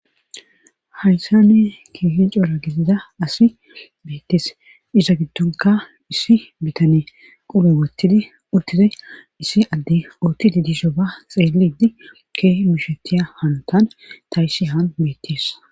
haysani kihin cora gidida asi beettes iza giddonka issi bitane qobu wottidi uttidi issi adde uttidi disho ba xeelidi keeh mishetiya hantan ta issi haan bettes